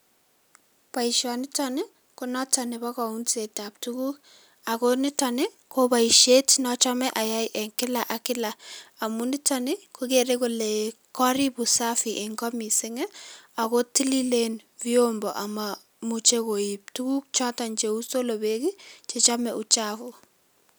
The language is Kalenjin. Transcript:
Boisionitonii ko noton nebo kounset ab tuguk, ako niton Ii ko boisiet nochome ayay enn kila ak kila amun niton ii kokere kole korib usafi enn Koo mising ii ako tililen vyombo ako momuche koib tuguk choton cheu solobek ii Chechome uchabu.